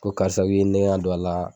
Ko karisa i ye n nɛkɛn ka don a la.